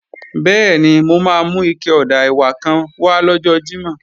Bẹ́ẹ̀ni, mo máa mú ike ọ̀dà ẹ̀wà kan wá lọ́jọ́ Jímọ̀